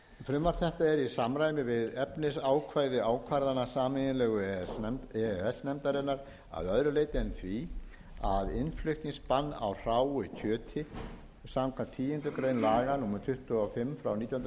frumvarp þetta er í samræmi við efnisákvæði ákvarðana sameiginlegu e e s nefndarinnar að öðru leyti en því að innflutningsbann á hráu kjöti samkvæmt tíundu grein laga númer tuttugu og fimm nítján hundruð